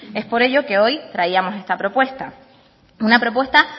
es por ello que hoy traíamos esta propuesta una propuesta